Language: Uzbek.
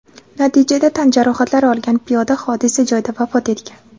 Natijada tan jarohatlari olgan piyoda hodisa joyida vafot etgan.